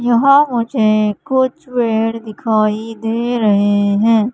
यहां मुझे कुछ पेड़ दिखाई दे रहे हैं।